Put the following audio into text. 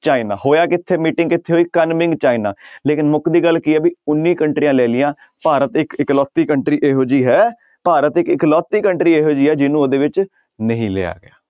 China ਹੋਇਆ ਕਿੱਥੇ meeting ਕਿੱਥੇ ਹੋਈ ਕਨਮਿੰਗ ਚਾਈਨਾ ਲੇਕਿੰਨ ਮੁਕਦੀ ਗੱਲ ਕੀ ਹੈ ਵੀ ਉੱਨੀ ਕੰਟਰੀਆਂ ਲੈ ਲਈਆਂ ਭਾਰਤ ਇੱਕ ਇੱਕ ਲੋਤੀ country ਇਹੋ ਜਿਹੀ ਹੈ ਭਾਰਤ ਇੱਕ ਇਕਲੋਤੀ country ਇਹੋ ਜਿਹੀ ਹੈ ਜਿਹਨੂੰ ਉਹਦੇ ਵਿੱਚ ਨਹੀਂ ਲਿਆ ਗਿਆ।